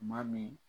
Maa min